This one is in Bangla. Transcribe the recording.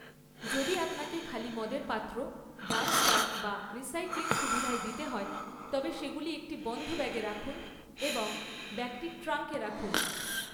যদি আপনাকে খালি মদের পাত্র ডাম্পস্টার বা রিসাইক্লিং সুবিধায় দিতে হয়, তবে সেগুলি একটি বন্ধ ব্যাগে রাখুন এবং ব্যাগটি ট্রাঙ্কে রাখুন।